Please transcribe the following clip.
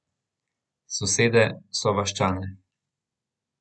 Sosede, sovaščane.